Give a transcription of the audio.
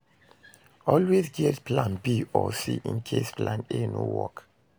Always get plan B or C in case plan A no work